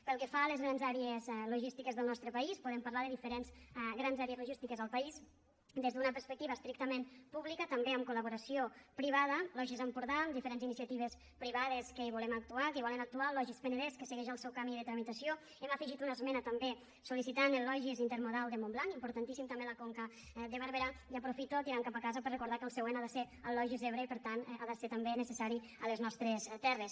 pel que fa a les grans àrees logístiques del nostre país podem parlar de diferents grans àrees logístiques en el país des d’una perspectiva estrictament pública també amb col·laboració privada logis empordà amb diferents iniciatives privades que hi volem actuar que hi volen actuar el logis penedès que segueix el seu camí de tramitació hi hem afegit una esmena també sol·licitant el logis intermodal de montblanc importantíssim també a la conca de barberà i aprofito tirant cap a casa per recordar que el següent ha de ser el logis ebre i per tant ha de ser també necessari a les nostres terres